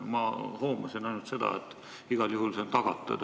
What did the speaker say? Ma hoomasin ainult seda, et igal juhul see on tagatud.